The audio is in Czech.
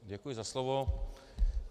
Děkuji za slovo.